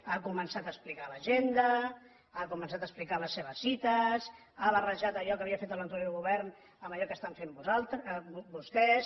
ha començat a explicar l’agenda ha començat a explicar les seves cites ha barrejat allò que havia fet l’anterior govern amb allò que estan fent vostès